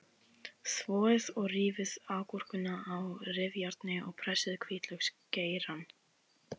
Þvoið og rífið agúrkuna á rifjárni og pressið hvítlauksgeirann.